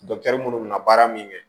minnu bɛna baara min kɛ